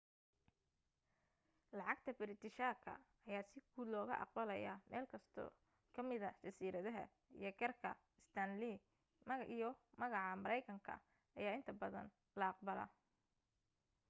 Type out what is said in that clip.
lacagta biritishaka ayaa si guud looga aqbalaya meelkasto ka mida jasiiradaha iyo kaarka stanley iyo lacaga mareykanka ayaa inta badan la aqbalaa